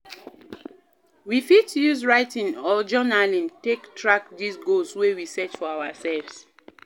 We fit use writing or journaling take track di goals wey we set for ourself